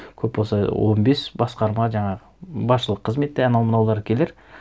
көп болса он бес басқарма жаңағы басшылық кізметте анау мынаулар келер